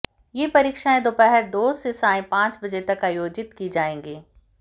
ये परीक्षाएं दोपहर दो से सायं पांच बजे तक आयोजित की जाएंगी